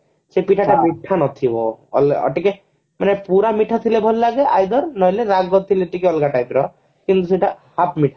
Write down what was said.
ମିଠା ନଥିବ ଆଉ ଟିକେ ମାନେ ପୁରା ମିଠା ଥିଲେ ଭଲ ଲାଗେ either ନହେଲେ ରାଗ ଥିଲେ ଟିକେ ଅଲଗା type ର କିନ୍ତୁ ସେଟା half ମିଠା